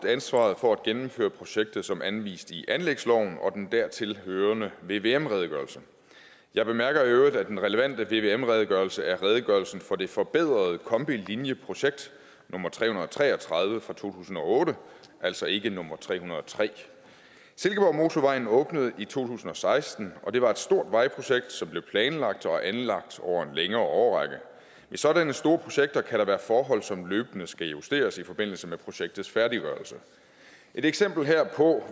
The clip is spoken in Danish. ansvaret for at gennemføre projektet som anvist i anlægsloven og den dertilhørende vvm redegørelse jeg bemærker i øvrigt at den relevante vvm redegørelse er redegørelsen for det forbedrede kombilinien projekt nummer tre hundrede og tre og tredive fra to tusind og otte altså ikke nummer tre hundrede og tre silkeborgmotorvejen åbnede i to tusind og seksten og det var et stort vejprojekt som blev planlagt og anlagt over en længere årrække ved sådanne store projekter kan der være forhold som løbende skal justeres i forbindelse med projektets færdiggørelse et eksempel herpå